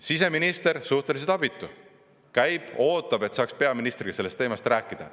Siseminister on suhteliselt abitu, käib ja ootab, et saaks peaministriga sellest teemast rääkida.